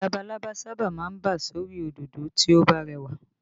Labalábá sábà máa ń bà sórí òdòdó tí ó bá rẹwà